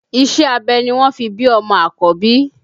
Iṣẹ́ abẹ ni wọ́n fi bí ọmọ àkọ́bí